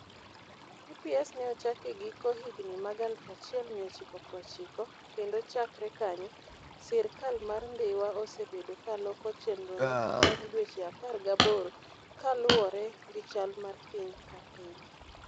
TPS ne ochak e giko higini mag 1990, kendo chakre kanyo, sirkal mar Dhiwa osebedo ka loko chenrono bang' dweche 18 kaluwore gi chal mar piny ka piny.